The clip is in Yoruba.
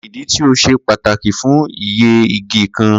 Kini idi ti o ṣe pataki fun iyẹ-igi kan?